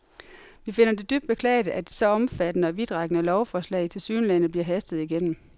Vi finder det dybt beklageligt, at et så omfattende og vidtrækkende lovforslag til tilsyneladende bliver hastet igennem.